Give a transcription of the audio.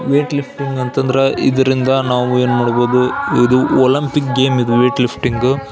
Wait lifting ಅಂತ ಅಂದ್ರ ಇದರಿಂದ ನಾವುಎನ್ ಮಾಡಬಹುದು ಇದು ಒಲಂಪಿಕ್ ಗೇಮ್ ಇದು ವೇಟ್ ಲಿಫ್ಟಿನ್ಗು .